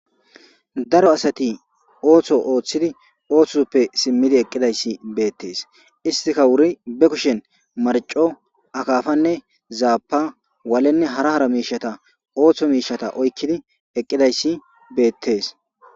daro asati ooththo ooththidi ooththo soppe simmidi eqqidayssi beettes istika wuri be kushen marco akafanne zaapa waalenne hara hara miishata ooththo miishata oykkidi eqqidayssi beettees